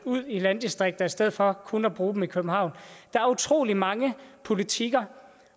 ud i landdistrikter i stedet for kun at bruge dem i københavn der er utrolig mange politikker